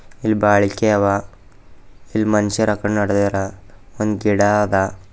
ಇಲ್ಲಿ ಬಲಿಕಿ ಅವ ಇಲ್ ಮನುಷ್ಯರ್ ಅಕಡೆ ನಡ್ದಾರ ಒಂದು ಗಿಡ ಆದ.